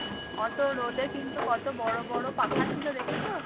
অত রোদে কিন্তু কত বড় বড় পাখা ছিল দেখেছো?